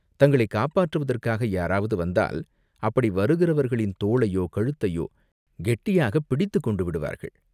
தங்களைக் காப்பாற்றுவதற்காக யாராவது வந்தால், அப்படி வருகிறவர்களின் தோளையோ கழுத்தையோ கெட்டியாகப் பிடித்துக்கொண்டு விடுவார்கள்.